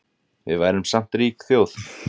Við værum samt rík þjóð